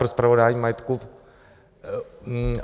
pro spravování majetku...